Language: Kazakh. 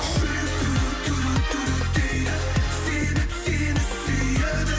жүрек дейді себеп сені сүйеді